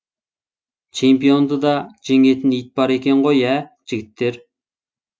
чемпионды да жеңетін ит бар екен ғой ә жігіттер